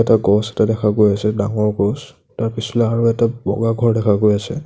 এটা গছ এটা দেখা গৈ আছে ডাঙৰ গছ তাৰ পিছফালে আৰু এটা বগা ঘৰ দেখা গৈ আছে।